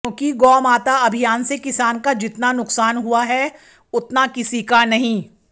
क्योंकि गौ माता अभियान से किसान का जितना नुक्सान हुआ है उतना किसी का नहीं